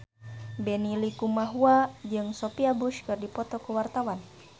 Benny Likumahua jeung Sophia Bush keur dipoto ku wartawan